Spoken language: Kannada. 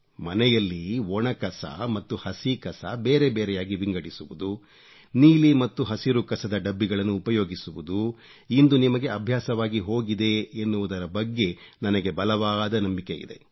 ಮನೆಯಲ್ಲಿ ಒಣ ಕಸ ಮತ್ತು ಹಸಿ ಕಸ ಬೇರೆ ಬೇರೆಯಾಗಿ ವಿಂಗಡಿಸುವುದು ನೀಲಿ ಮತ್ತು ಹಸಿರು ಕಸದ ಡಬ್ಬಿಗಳನ್ನು ಉಪಯೋಗಿಸುವುದು ಇಂದು ನಿಮಗೆ ಅಭ್ಯಾಸವಾಗಿ ಹೋಗಿದೆ ಎನ್ನುವುದರ ಬಗ್ಗೆ ನನಗೆ ಬಲವಾದ ನಂಬಿಕೆಯಿದೆ